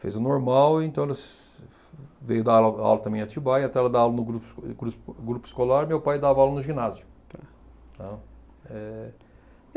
Fez o normal, então veio dar aula aula também em Atibaia, então ela dava aula no grupo eh gru grupo escolar, meu pai dava aula no ginásio, tá. Eh